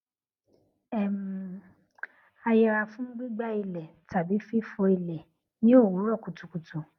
um a yẹra fún gbígbá ilẹ tàbí fífọ ilẹ ní òwúrò kùtùkùtù